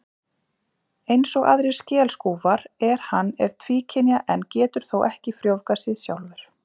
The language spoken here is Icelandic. Eins og aðrir skelskúfar er hann er tvíkynja en getur þó ekki frjóvgað sig sjálfur.